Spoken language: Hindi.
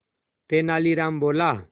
तेनालीराम बोला